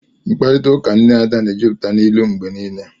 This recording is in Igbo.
Mkparịta ụka nne Ada na-ejupụta n'ilu mgbe niile